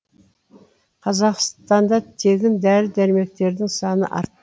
қазақстанда тегін дәрі дәрмектердің саны арт